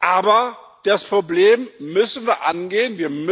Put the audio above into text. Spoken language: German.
Aber das Problem müssen wir angehen.